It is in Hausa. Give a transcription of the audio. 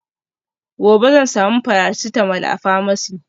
gobe zan samu paracetamol a pharmacy